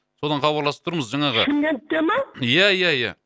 содан хабарласып тұрмыз жаңағы шымкентте ма ия ия ия